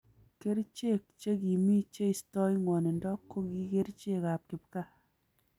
Kericheek che kimii cheistoi ngwanindo koki kerchek ab kipkaa